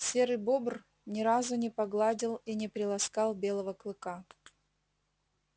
серый бобр ни разу не погладил и не приласкал белого клыка